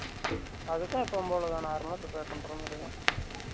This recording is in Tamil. அதுக்கும் எப்பவும் போல தான் normal ல prepare பண்ற மாதிரிதான்